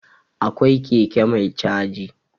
Akwai keke mai caji.